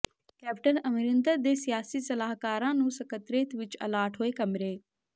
captain Amarinder ਦੇ ਸਿਆਸੀ ਸਲਾਹਕਾਰਾਂ ਨੂੰ ਸਕੱਤਰੇਤ ਵਿਚ ਅਲਾਟ ਹੋਏ ਕਮਰੇ